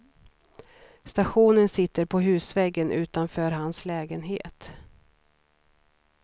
Stationen sitter på husväggen utanför hans lägenhet.